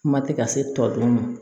Kuma tɛ ka se tɔ dun ma